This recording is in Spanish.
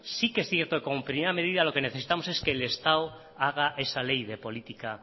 sí que es cierto que como primera medida lo que necesitamos es que el estado haga esa ley de política